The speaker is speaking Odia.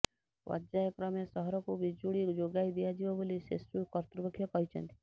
ପର୍ଯ୍ୟାୟ କ୍ରମେ ସହରକୁ ବିଜୁଳି ଯୋଗାଇ ଦିଆଯିବ ବୋଲି ସେସୁ କର୍ତ୍ତୃପକ୍ଷ କହିଛନ୍ତି